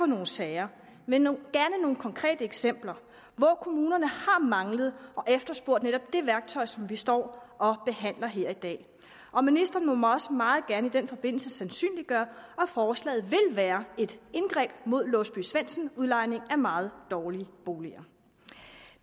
nogle sager med nogle konkrete eksempler hvor kommunerne har manglet og efterspurgt netop det værktøj som vi står og behandler her i dag og ministeren må også meget gerne i den forbindelse sandsynliggøre om forslaget vil være et indgreb mod låsby svendsen udlejning af meget dårlige boliger